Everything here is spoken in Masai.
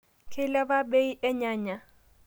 Keiliapa bei ee nyanya